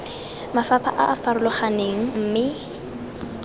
mafapha a a farologaneng mme